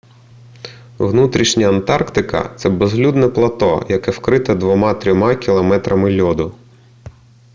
внутрішня антарктика це безлюдне плато яке вкрите 2-3 км льоду